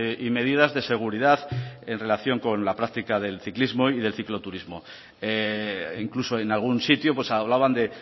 y medidas de seguridad en relación con la práctica del ciclismo y del cicloturismo incluso en algún sitio hablaban de